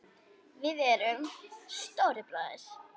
Við erum Stóri bróðir!